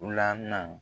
Lamɛn